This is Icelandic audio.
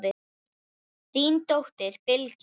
Þín dóttir, Bylgja.